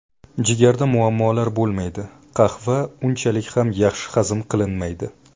Jigarda muammolar bo‘lmaydi Qahva unchalik ham yaxshi hazm qilinmaydi.